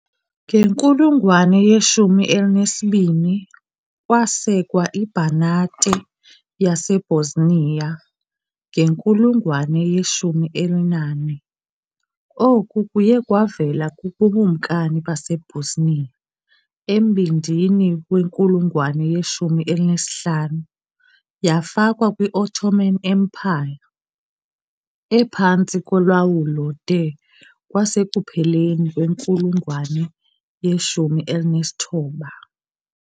Ngenkulungwane ye-12, kwasekwa iBanate yaseBosnia, ngenkulungwane ye-14, oku kuye kwavela kuBukumkani baseBosnia. Embindini wenkulungwane ye-15, yafakwa kwi- Ottoman Empire, ephantsi kolawulo de kwasekupheleni kwenkulungwane ye-19.